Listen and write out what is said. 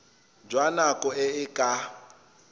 jwa nako e e ka